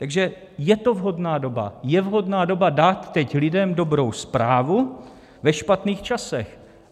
Takže je to vhodná doba, je vhodná doba dát teď lidem dobrou zprávu ve špatných časech.